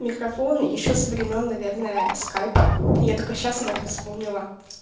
микрофон ещё со времён наверное скайпа я только сейчас об этом вспомнила